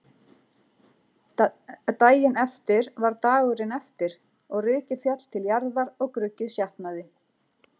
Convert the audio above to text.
Daginn eftir var dagurinn eftir og rykið féll til jarðar og gruggið sjatnaði.